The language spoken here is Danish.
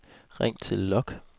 ring til log